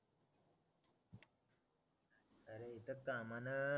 त्या कामनं